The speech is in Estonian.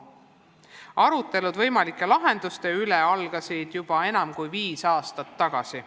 Arutelud võimalike lahenduste üle algasid juba enam kui viis aastat tagasi.